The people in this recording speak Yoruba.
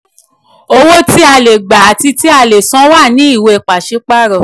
owó tí a le gba àti tí a le san wà ní ìwé pàsípàrọ̀.